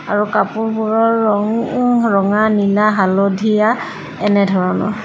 আৰু কাপোৰবোৰৰ ৰঙ ৰঙা নীলা হালধীয়া এনেধৰণৰ।